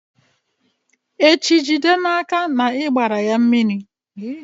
echi, jide n'aka na ị gbara ya mmiri!